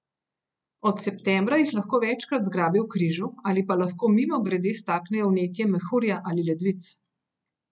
Od septembra jih lahko večkrat zgrabi v križu ali pa lahko mimogrede staknejo vnetje mehurja ali ledvic.